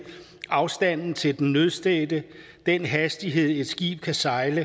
afstanden til den nødstedte den hastighed et skib kan sejle